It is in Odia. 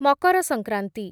ମକର ସଂକ୍ରାନ୍ତି